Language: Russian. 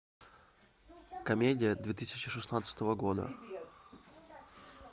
комедия две тысячи шестнадцатого года